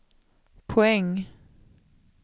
poäng